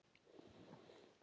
Einnig er mikið um furu.